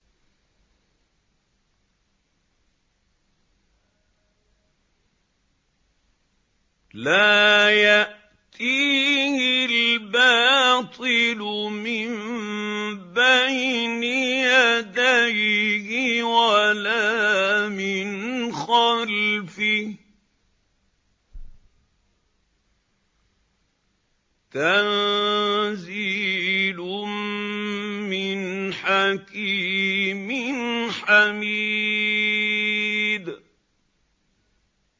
لَّا يَأْتِيهِ الْبَاطِلُ مِن بَيْنِ يَدَيْهِ وَلَا مِنْ خَلْفِهِ ۖ تَنزِيلٌ مِّنْ حَكِيمٍ حَمِيدٍ